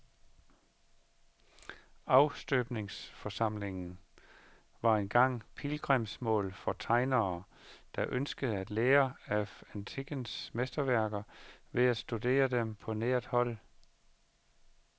Afstøbningssamlingen var engang pilgrimsmål for tegnere, der ønskede at lære af antikkens mesterværker ved at studere dem på nært hold.